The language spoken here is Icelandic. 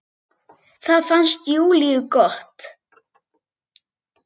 Það fannst Júlíu gott.